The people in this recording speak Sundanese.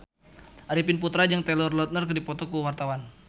Arifin Putra jeung Taylor Lautner keur dipoto ku wartawan